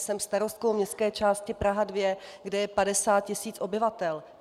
Jsem starostkou městské části Praha 2, kde je 50 tis. obyvatel.